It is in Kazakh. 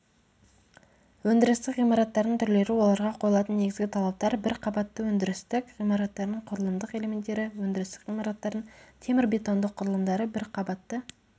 өндірістік ғимараттардың түрлері оларға қойылатын негізгі талаптар бір қабатты өндірістік ғимараттардың құрылымдық элементтері өндірістік ғимараттардың темірбетондық құрылымдары бір қабатты